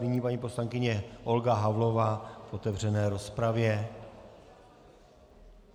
Nyní paní poslankyně Olga Havlová v otevřené rozpravě.